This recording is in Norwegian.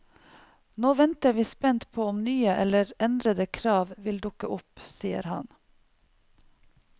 Nå venter vi spent på om nye eller endrede krav vil dukke opp, sier han.